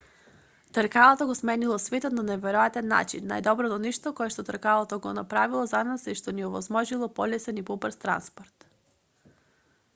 тркалото го сменило светот на неверојатен нaчин. најдоброто нешто кое тркалото го направило за нас е што ни овозможило полесен и побрз транспорт